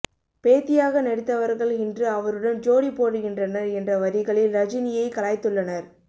பேத்தியாக நடித்தவர்கள் இன்று அவருடன் ஜோடி போடுகின்றனர் என்ற வரிகளில் ரஜினியை கலாய்த்துள்ளனர்